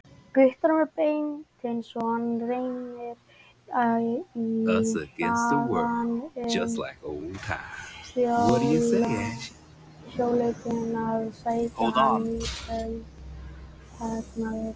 Guttormur Beinteinsson rennir í hlaðið um sjöleytið að sækja hann í kvöldfagnaðinn.